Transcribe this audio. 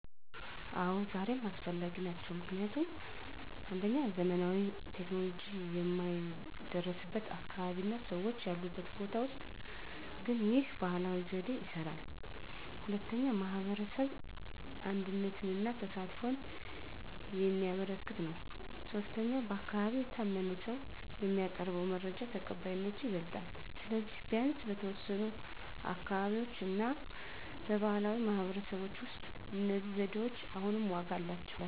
አዎ፣ ዛሬም አስፈላጊ ናቸው። ምክንያቱም 1. ዘመናዊ ቴክኖሎጂ የማይደረስበት አካባቢ እና ሰዎች ያሉበት ቦታ ውስጥ ግን ይህ ባህላዊ ዘዴ ይስራል። 2. የማህበረሰብ አንድነትን እና ተሳትፎን የሚያበረክት ነው። 3. በአካባቢ የታመነ ሰው የሚያቀርበው መረጃ ተቀባይነቱ ይበልጣል። ስለዚህ፣ ቢያንስ በተወሰኑ አካባቢዎች እና በባህላዊ ማህበረሰቦች ውስጥ እነዚህ ዘዴዎች አሁንም ዋጋ አላቸው።